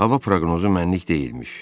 Hava proqnozu mənlik deyilmiş.